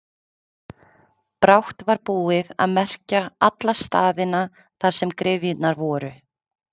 Brátt var búið að merkja alla staðina þar sem gryfjurnar voru.